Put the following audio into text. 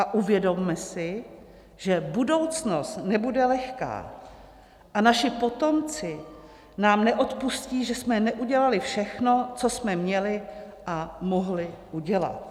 A uvědomme si, že budoucnost nebude lehká a naši potomci nám neodpustí, že jsme neudělali všechno, co jsme měli a mohli udělat."